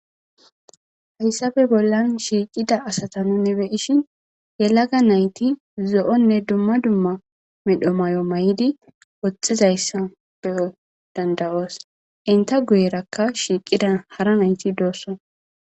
hayssafe bollan shiiqida asata nuni beyishin yelaga nayti zo7onne dumma dumma medho may7o may7idi woxxizayssa be7o dandawoos inta guyerakka shiiqida hara nayti doosso